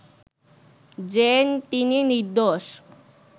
যে তিনি নির্দোষ,